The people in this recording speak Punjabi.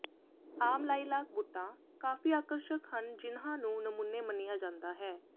ਆਮ ਲਾਈਲਾਕ ਬੂਟਾਂ ਕਾਫ਼ੀ ਆਕਰਸ਼ਕ ਹਨ ਜਿਨ੍ਹਾਂ ਨੂੰ ਨਮੂਨੇ ਮੰਨਿਆ ਜਾਂਦਾ ਹੈ